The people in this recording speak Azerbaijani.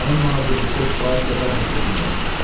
Mənim nazirlikdə kifayət qədər nüfuzum var.